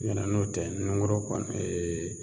Ɲɛ tɛ n'o tɛ nunkurun kɔni